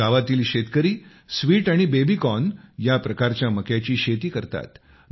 आज गावातील शेतकरी स्वीट आणि बेबीकॉर्न या प्रकारच्या मक्याची शेती करतात